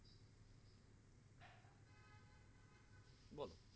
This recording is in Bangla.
বলো